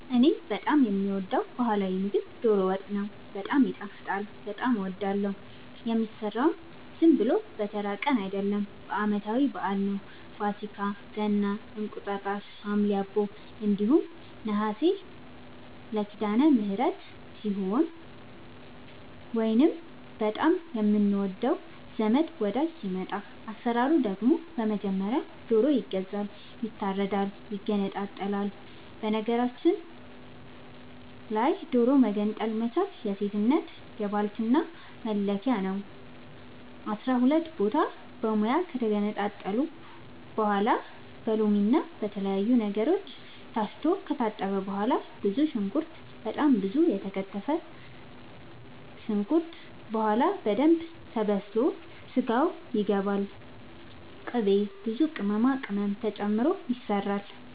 እኔ በጣም የምወደው በህላዊ ምግብ ዶሮ ወጥ ነው። በጣም ይጣፍጣል በጣም አወዳለሁ። የሚሰራውም ዝም ብሎ በተራ ቀን አይደለም ለአመታዊ በአል ነው። ፋሲካ ገና እንቁጣጣሽ ሀምሌ አቦ እንዲሁም ነሀሴ ሲዳለምህረት ሲሆን ወይንም በጣም የምንወደው ዘመድ ወዳጅ ሲመጣ። አሰራሩ ደግሞ በመጀመሪያ ዶሮ ይገዛል ይታረዳል ይገነጣጠላል በነገራችል ላይ ዶሮ መገንጠል መቻል የሴትነት የባልትና መለኪያ ነው። አስራሁለት ቦታ በሙያ ከተገነጣጠለ በኋላ በሎምና በተለያዩ ነገሮች ታስቶ ከታጠበ በኋላ ብዙ ሽንኩርት በጣም ብዙ ከተከተፈ በኋላ በደንብ ተበስሎ ስጋው ይገባል ቅቤ ብዙ ቅመማ ቅመም ተጨምሮ ይሰራል